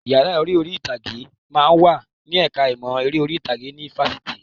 Yàrá ìṣeré orí ìtàgé máa ń wà ní ẹ̀ka ìmọ̀ ẹ̀kọ́ eré orí ìtàgé ní Fáṣitì